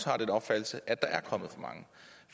har den opfattelse at der er kommet